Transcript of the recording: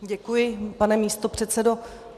Děkuji, pane místopředsedo.